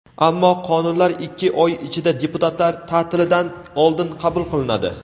Ammo qonunlar ikki oy ichida – deputatlar ta’tilidan oldin qabul qilinadi.